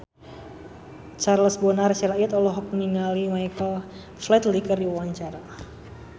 Charles Bonar Sirait olohok ningali Michael Flatley keur diwawancara